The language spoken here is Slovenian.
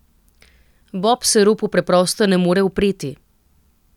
Bob se ropu preprosto ne more upreti.